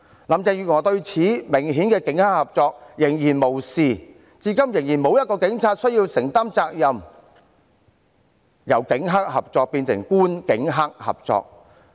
林鄭月娥對如此明顯的警黑合作仍然視若無睹，至今仍然沒有一名警員須承擔責任，由警黑合作變成官警黑合作。